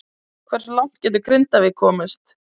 Hversu langt getur Grindavík komist?